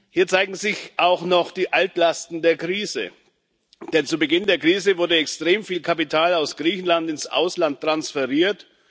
Hier zeigen sich auch noch die Altlasten der Krise, denn zu Beginn der Krise wurde extrem viel Kapital aus Griechenland ins Ausland transferiert.